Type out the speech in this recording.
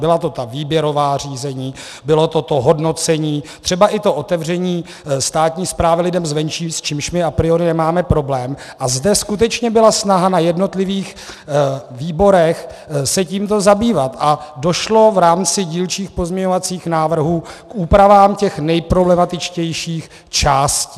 Byla to ta výběrová řízení, bylo to to hodnocení, třeba i to otevření státní správy lidem zvenčí, s čímž my a priori nemáme problém, a zde skutečně byla snaha na jednotlivých výborech se tímto zabývat a došlo v rámci dílčích pozměňovacích návrhů k úpravám těch nejproblematičtějších částí.